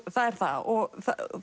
það er það og